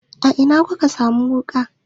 A ina ku ka sa mun wuƙa?